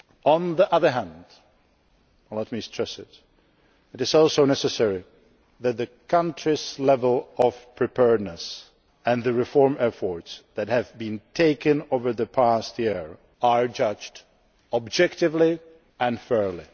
On the other hand and let me stress this it is also necessary that the country's level of preparedness and the reform efforts that have been made over the past year are judged objectively and fairly.